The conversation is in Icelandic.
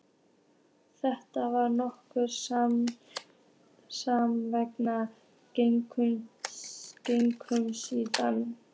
Þetta var notaleg samvera gegnum símann.